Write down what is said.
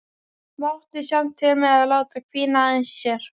Mátti samt til með að láta hvína aðeins í sér.